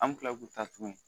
An bɛ kila k'u ta tuguni